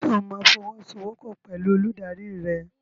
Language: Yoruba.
Ṣo máa fọwọ́sowọ́pọ̀ pẹ̀lú olùdarí rẹ?